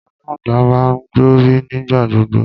Alangba máa ń gbọnrí nígbà gbogbo